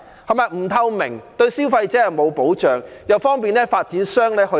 既不透明，對消費者沒有保障，又方便發展商托價。